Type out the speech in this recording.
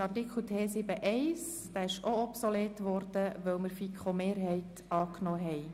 Auch Artikel T7.1 ist obsolet, weil wir den Antrag der FiKoMehrheit angenommen haben.